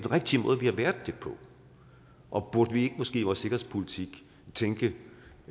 har været det på og burde vi måske vores sikkerhedspolitik tænke